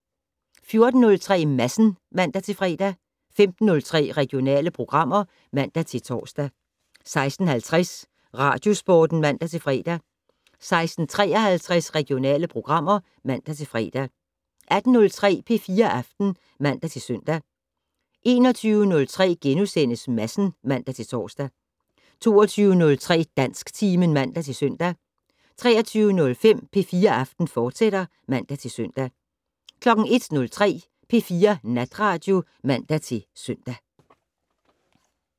14:03: Madsen (man-fre) 15:03: Regionale programmer (man-tor) 16:50: Radiosporten (man-fre) 16:53: Regionale programmer (man-fre) 18:03: P4 Aften (man-søn) 21:03: Madsen *(man-tor) 22:03: Dansktimen (man-søn) 23:05: P4 Aften, fortsat (man-søn) 01:03: P4 Natradio (man-søn)